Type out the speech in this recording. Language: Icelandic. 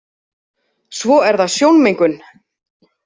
Svo er það sjónmengun.